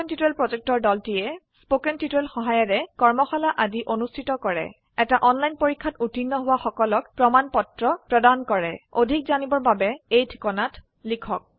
কথন শিক্ষণ প্ৰকল্পৰ দলটিয়ে কথন শিক্ষণ সহায়িকাৰে কৰ্মশালা আদি অনুষ্ঠিত কৰে এটা অনলাইন পৰীক্ষাত উত্তীৰ্ণ হোৱা সকলক প্ৰমাণ পত্ৰ প্ৰদান কৰে অধিক জানিবৰ বাবে অনুগ্ৰহ কৰি contactspoken tutorialorg এই ঠিকনাত লিখক